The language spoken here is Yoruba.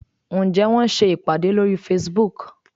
Ǹjẹ́ wọ́n ń ṣe ìpàdé lórí Facebook?